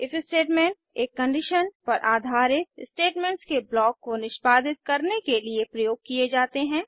if statement एक condition पर आधारित स्टेटमेंट्स के ब्लॉक को निष्पादित करने के लिए प्रयोग किए जाते हैं